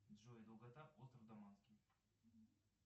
джой долгота острова даманский